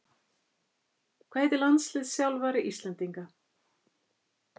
Hvað heitir landsliðsþjálfari Íslendinga?